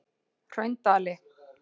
Hraundali